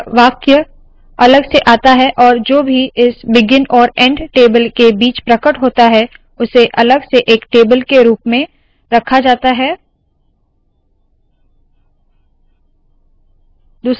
यह वाक्य अलग से आता है और जो भी इस बिगिन और एंड टेबल के बीच प्रकट होता है उसे अलग से एक टेबल के रुप में रखा जाता है